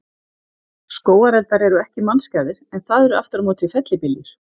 Skógareldar eru ekki mannskæðir, en það eru aftur á móti fellibyljir.